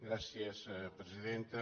gràcies presidenta